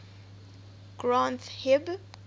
granth hib